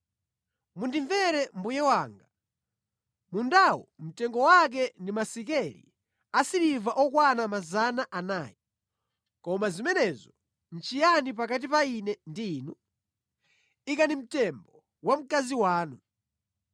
“Mundimvere mbuye wanga; mundawo mtengo wake ndi masekeli asiliva okwana 400. Koma zimenezo nʼchiyani pakati pa ine ndi inu? Ikani mtembo wa mkazi wanu.”